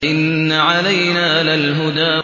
إِنَّ عَلَيْنَا لَلْهُدَىٰ